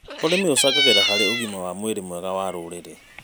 ũrĩmi ũcangagĩra harĩ ũgima wa mwĩrĩ mwega wa rũrĩrĩ.